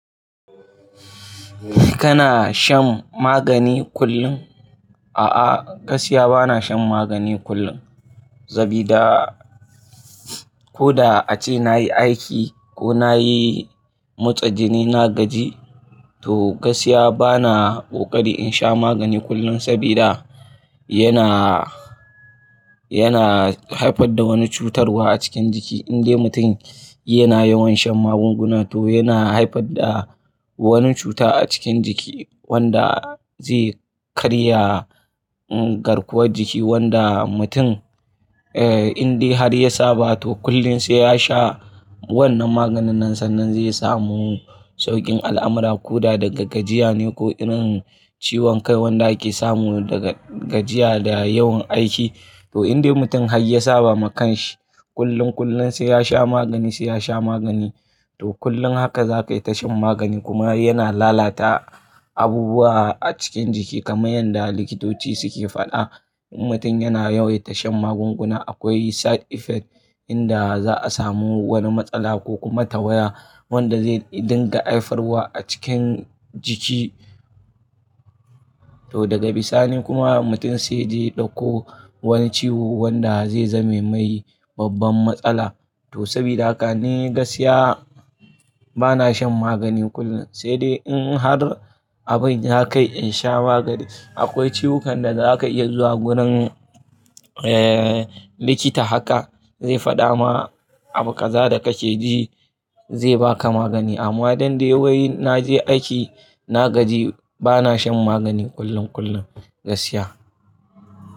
Kana shan magani kullum? A'a, gaskiya bana shan magani kullum sabida ko da ace nayi aiki ko nayi motsa jini na gaji, to gaskiya bana ƙoƙarin in sha magani kullum sabida yana, yana haifar da wani cutarwa a cikin jiki. Indai mutum yana yawan shan magunguna to yana haifar da wani cuta a cikin jiki wanda zai karya garkuwar jiki wanda mutum, eh, indai har ya saba to kullum sai yasha wannan maganin nan sannan zai samu sauƙin al'amura ko da daga gajiya ne ko irin ciwon kai wanda ake samu daga gajiya da yawan aiki. To indai mutum har ya saba ma kanshi kullum, kullum sai yasha magani sai yasha magani to kullum haka za ka yi tashan magani kuma yana lalata abubuwa a cikin jiki kamar yanda likitoci suke faɗa. In mutum yana yawaita shan magunguna akwai side effect inda za a samu wani matsala ko kuma tawaya wanda zai dinga haifarwa a cikin jiki. To daga bisa ni kuma mutum sai ya je ya ɗauko wani ciwo wanda zai zame mai babban matsala. To sabida haka ni gaskiya bana shan magani kullum sai dai in har abin ya kai in sha magani. Akwai ciwukan da za ka iya zuwa gurin, eh, likita haka zai faɗa ma abu kaza da kake ji zai baka magani. Amma don dai wai naje aiki na gaji bana shan magani kullum, kullum gaskiya.